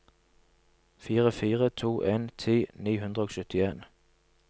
fire fire to en ti ni hundre og syttien